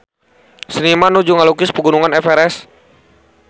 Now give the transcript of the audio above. Seniman nuju ngalukis Pegunungan Everest